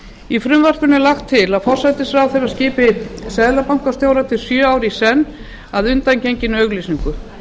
í frumvarpinu er lagt til að forsætisráðherra skipi seðlabankastjóra til sjö ára í senn að undangenginni auglýsingu